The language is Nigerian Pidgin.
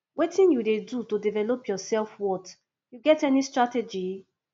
wetin you dey do to develop your selfworth you get any strategy